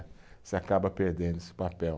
Você acaba perdendo esse papel.